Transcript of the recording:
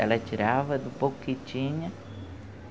Ela tirava do pouco que tinha.